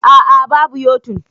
Aa, babu yo-tun